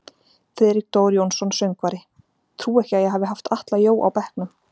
Friðrik Dór Jónsson söngvari: Trúi ekki að ég hafi haft Atla Jó á bekknum.